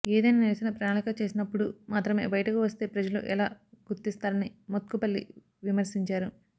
ఏదైనా నిరసన ప్రణాళిక చేసినప్పుడు మాత్రమే బయటకు వస్తే ప్రజలు ఎలా గుర్తిస్తారని మోత్కుపల్లి విమర్శించారు